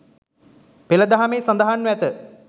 පෙළ දහමෙහි සඳහන්ව ඇත.